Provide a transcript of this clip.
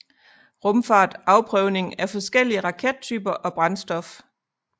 Rumfart Afprøvning af forskellige rakettyper og brændstof